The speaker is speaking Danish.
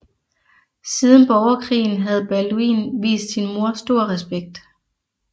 Siden borgerkrigen havde Balduin vist sin mor stor respekt